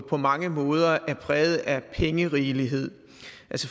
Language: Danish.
på mange måder er præget af pengerigelighed